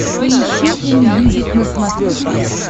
поищи энмьюзик на смотрешке